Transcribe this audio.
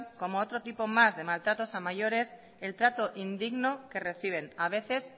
como otro tipo más de maltratos a mayores el trato indigno que reciben a veces